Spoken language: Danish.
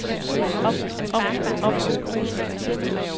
om om om